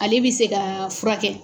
Ale bi se ka fura kɛ.